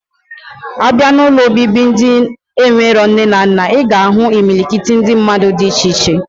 Abia na ụlọ obibi ndi enwere nne na nna, iga ahu imilikiti ndi mmadu di iche iche.